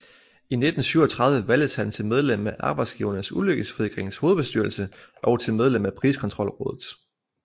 I 1937 valgtes han til Medlem af Arbejdsgivernes Ulykkesforsikrings hovedbestyrelse og til medlem af Priskontrolrådet